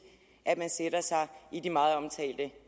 at man sætter sig i de meget omtalte